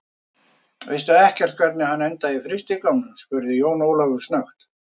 Veistu ekkert hvernig hann endaði á frystigámnum, spurði Jón Ólafur snöggt.